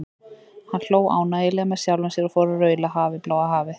Hann hló ánægjulega með sjálfum sér og fór að raula Hafið, bláa hafið.